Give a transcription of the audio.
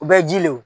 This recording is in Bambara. U bɛ ji lew